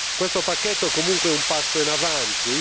Questo pacchetto, comunque, è un passo in avanti.